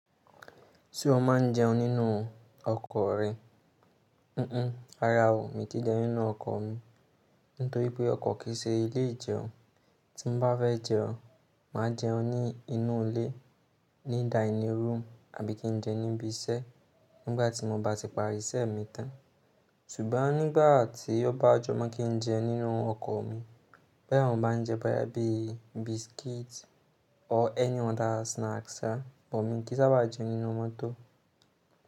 Ṣé o máa ń jẹun nínú ọkọ̀ rẹ? Ara o, mi ò tí ì jẹun nínú ọkọ̀ mi. Nítorí pé ọkọ̀ kì í ṣe ilé ìjẹun. Tí mo bá fẹ́ jẹun, màá jẹun ní inú ilé, ní dining room, àbí kí n jẹun níbi iṣẹ́ nígbà tí mo bá ti parí iṣẹ́ mi tán. Sùn'gbon nígbà tí ó bá jọ́ mọ́ kí n jẹun nínú ọkọ̀ mi, bó yá àwọn maa ń jẹ bó yá bí biscuit or any other snacks sá, mo ní kí sábà jẹun nínú mọ́tò.